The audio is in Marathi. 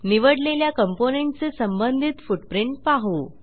निवडलेल्या कॉम्पोनेंट चे संबंधित फुटप्रिंट पाहू